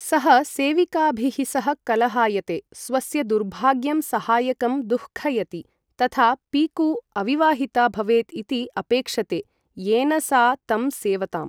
सः सेविकाभिः सह कलहायते, स्वस्य दुर्भाग्यं सहायकं दुःखयति, तथा पीकू अविवाहिता भवेत् इति अपेक्षते, येन सा तं सेवताम्।